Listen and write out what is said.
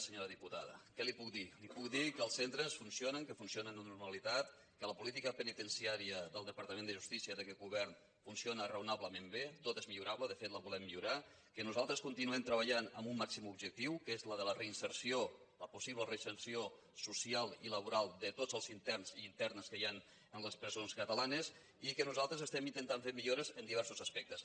senyora diputada què li puc dir li puc dir que els centres funcionen que fun·cionen amb normalitat que la política penitenciària del departament de justícia d’aquest govern funcio·na raonablement bé tot és millorable de fet la volem millorar que nosaltres continuem treballant amb un màxim objectiu que és el de la reinserció la possible reinserció social i laboral de tots els interns i inter·nes que hi han en les presons catalanes i que nosal·tres estem intentant fer millores en diversos aspectes